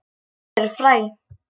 Til eru fræ.